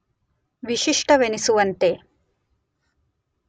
ವಿಶಿಷ್ಟವೆನಿಸುವಂತೆ